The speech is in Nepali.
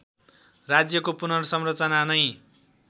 राज्यको पुनर्संरचना नै